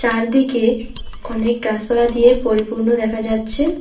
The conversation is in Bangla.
চারদিকে অনেক গাছপালা দিয়ে পরিপূর্ণ দেখা যাচ্ছে।